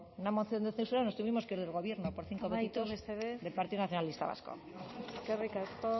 una moción de censura y nos tuvimos que ir del gobierno por del partido nacionalista vasco eskerrik asko